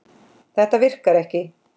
Þetta virkar ekki.